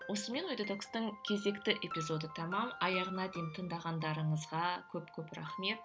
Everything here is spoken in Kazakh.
осымен ой детокстың кезекті эпизоды тәмам аяғына дейін тыңдағандарыңызға көп көп рахмет